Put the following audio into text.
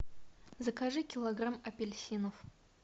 закажи килограмм апельсинов